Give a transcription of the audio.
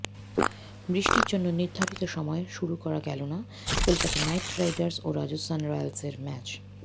বৃষ্টির জন্য নির্ধারিত সময় শুরু করা গেল না কলকাতা নাইট রাইডার্স ও রাজস্থান রয়্যালসের ম্যাচ